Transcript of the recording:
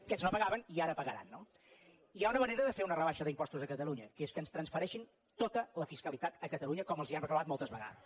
aquest no pagaven i ara pagaran no hi ha una manera de fer una rebaixa d’impostos a catalunya que és que ens transfereixin tota la fiscalitat a catalunya com els hem reclamat moltes vegades